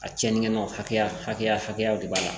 A cɛnni kɛ nɔn hakɛya hakɛya hakɛ de b'a la